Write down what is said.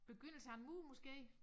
Begyndelsen af en mur måske